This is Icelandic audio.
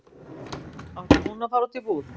Átti hún að fara út í búð?